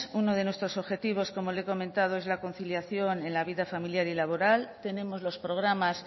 uno de nuestros objetivos como le he comentado es la conciliación en la vida familiar y laboral tenemos los programas